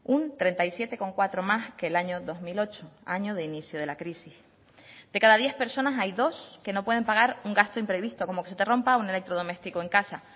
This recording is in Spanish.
un treinta y siete coma cuatro más que el año dos mil ocho año de inicio de la crisis de cada diez personas hay dos que no pueden pagar un gasto imprevisto como que se te rompa un electrodoméstico en casa